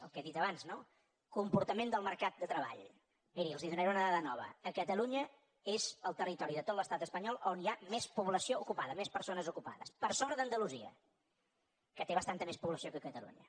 el que he dit abans no comportament del mercat de treball miri els en donaré una dada nova catalunya és el territori de tot l’estat espanyol on hi ha més població ocupada més persones ocupades per sobre d’andalusia que té bastanta més població que catalunya